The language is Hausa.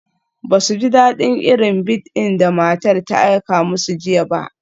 Ba su ji daɗin irin bead da matar ta aika musu jiya ba.